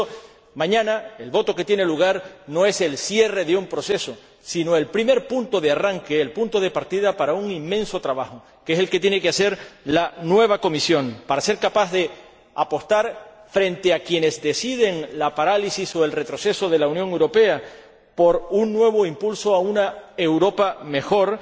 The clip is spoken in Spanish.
Por eso, mañana, el voto que tiene lugar no es el cierre de un proceso, sino el primer punto de arranque, el punto de partida para un inmenso trabajo, que es el que tiene que hacer la nueva Comisión para ser capaz de apostar, frente a quienes deciden la parálisis o el retroceso de la Unión Europea, por un nuevo impulso a una Europa mejor,